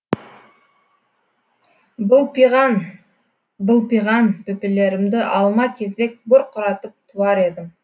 былпиған былпиған бөпелерімді алма кезек бұрқыратып туар едім